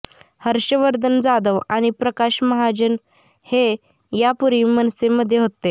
हर्षवर्धन जाधव आणि प्रकाश महाजन हे यापूर्वी मनसेमध्ये होते